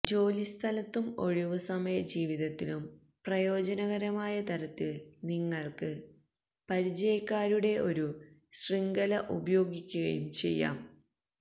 ജോലിസ്ഥലത്തും ഒഴിവുസമയ ജീവിതത്തിലും പ്രയോജനകരമായ തരത്തിൽ നിങ്ങൾക്ക് പരിചയക്കാരുടെ ഒരു ശൃംഖല ഉപയോഗിക്കുകയും ചെയ്യാം